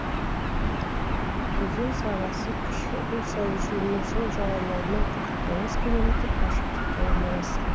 өзен сағасы кіші уса өзенінің сол жағалауынан қырық тоғыз километр қашықтықта орналасқан